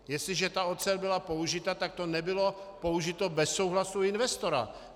Jestliže ta ocel byla použita, tak to nebylo použito bez souhlasu investora.